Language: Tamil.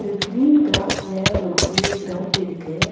ஒரு கிரீன் கிராஸ்ல ஒரு பெரிய கிரவுண்ட் இருக்கு.